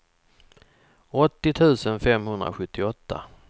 åttio tusen femhundrasjuttioåtta